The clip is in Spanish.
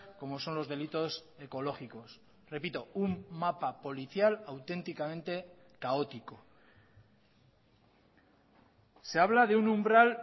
como son los delitos ecológicos repito un mapa policial auténticamente caótico se habla de un umbral